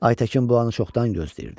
Aytəkin bu anı çoxdan gözləyirdi.